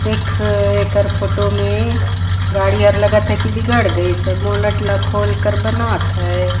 देख एकर फोटो मे गाड़ी हर लगत हैं की बिगड़ गइसे बोनट ल खोल के बनात हैं।